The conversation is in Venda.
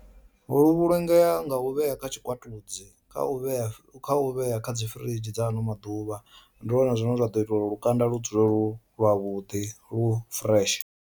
Lu vhulungea nga u vhea kha tshikwatudzi kha u vhea kha u vhea kha dzi firidzhi dza ano maḓuvha ndi lwone zwine zwa ḓo itela uri lukanda lu dzule lu lwa vhudi lwu fureshe.